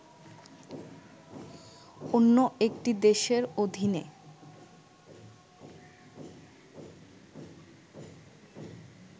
অন্য একটি দেশের অধীনে